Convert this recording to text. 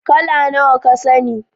How many colors do you know